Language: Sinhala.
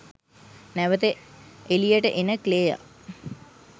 නැවත එලියට එන ක්ලෙයා